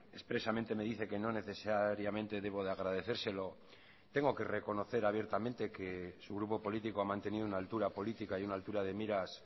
expresamente me dice que no necesariamente debo de agradecérselo tengo que reconocer abiertamente que su grupo político ha mantenido una altura política y una altura de miras